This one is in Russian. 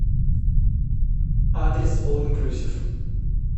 адрес ол инклюзив